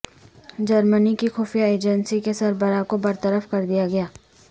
جرمنی کی خفیہ ایجنسی کے سربراہ کو برطرف کر دیا گیا